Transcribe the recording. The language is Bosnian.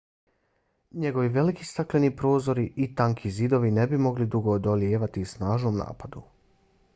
njegovi veliki stakleni prozori i tanki zidovi ne bi mogli dugo odolijevati snažnom napadu